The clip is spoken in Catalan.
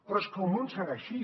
però és que el món serà així